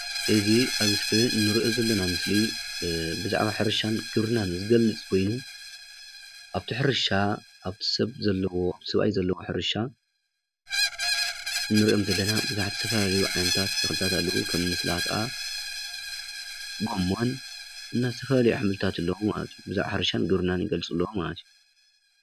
እዚ ኣብ እስክሪን ንርኦ ዘለና ምስሊ ብዛዕባ ሕርሻን ክብርናን ዝገልፅ ኮይኑ ኣብቲ ሕርሻ ሰብኣይ ዘለው ሕርሻ ንርኦም ዘለና ብዙሓት ዝተፈላለዩ ዓይነት ተክልታት ከም ሰላጣ ጎመን ብዛዕባ ሕርሻን ግብርናን ይገልፁ ኣለዉ።